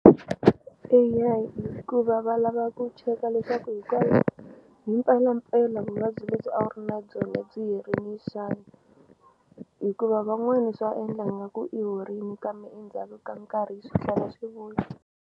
Eya hikuva va lava ku cheka leswaku hi mpelampela vuvabyi lebyi a wu ri na byona byi herini xana hikuva van'wani swa endla nga ku i horini kambe endzhaku ka nkarhi swi tlhela swi vuya.